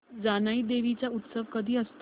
जानाई देवी चा उत्सव कधी असतो